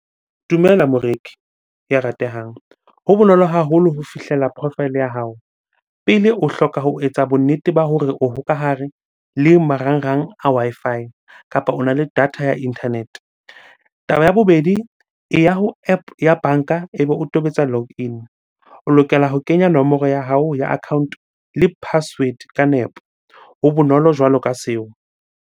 Dumela moreki ya ratehang. Ho bonolo haholo ho fihlela profile ya hao. Pele, o hloka ho etsa bonnete ba hore o hokahare le marangrang a Wi-Fi kapa ona le data ya internet-e. Taba ya bobedi, eya ho App ya banka ebe o tobetsa log in. O lokela ho kenya nomoro ya hao ya account-o le password ka nepo. Ho bonolo jwalo ka seo.